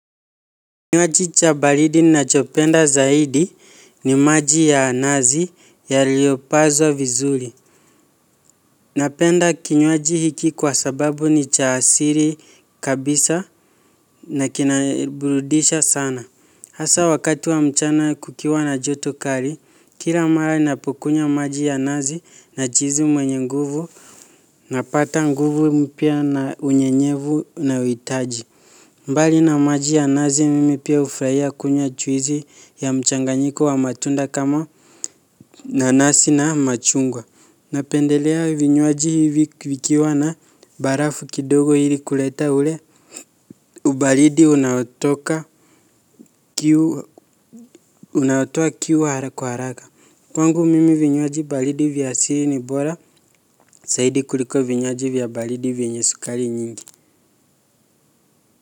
Kinywaji cha baridi nachopenda zaidi ni maji ya nazi yaliopazo vizuri. Napenda kinywaji hiki kwa sababu ni cha asiri kabisa na kinabrudisha sana. Hasa wakati wa mchana kukiwa na joto kali, kila mara napokunywa maji ya nazi najihisi mwenye nguvu na pata nguvu mpya na unyenyevu na uhitaji. Mbali na maji ya nazi mimi pia ufurahia kunywa juisi ya mchanganyiko wa matunda kama nanasi na machungwa. Napendelea vinywaji hivi vikiwa na barafu kidogo hili kuleta ule. Ubalidi unautoka kiu unaotoa kiu haraka kwa haraka. Kwangu mimi vinywaji baridi vya asili ni bora zaidi kuliko vinywaji vya baridi vyenye sukari nyingi.